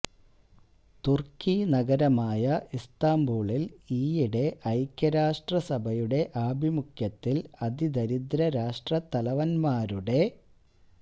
തുര്ക്കി നഗരമായ ഇസ്തംബൂളില് ഈയിടെ ഐക്യരാഷ്ട്രസഭയുടെ ആഭിമുഖ്യത്തില് അതി ദരിദ്ര രാഷ്ട്രത്തലവന്മാരുടെ